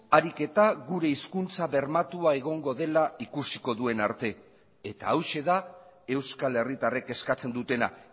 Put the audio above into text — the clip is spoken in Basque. ariketa gure hizkuntza bermatua egongo dela ikusiko duen arte eta hauxe da euskal herritarrek eskatzen dutena